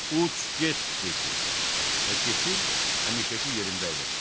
Uç get dedim və keçib həmişəki yerimdə əyləşdim.